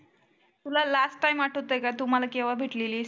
तुला last time आठवतय का तु मला केव्हा भेटलेलीस?